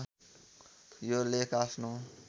यो लेख आफ्नो